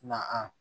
Na a